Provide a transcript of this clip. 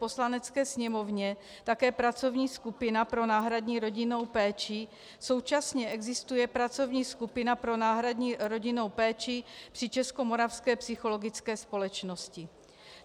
Poslanecké sněmovně také pracovní skupina pro náhradní rodinnou péči, současně existuje pracovní skupina pro náhradní rodinnou péči při Českomoravské psychologické společnosti.